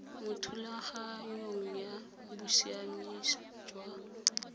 mo thulaganyong ya bosiamisi jwa